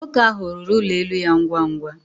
Nwoke ahụ rụrụ ụlọ elu ya ngwa ngwa